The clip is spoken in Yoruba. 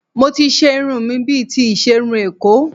Mo ti ṣe irun mi bíi ti iṣerun Èkó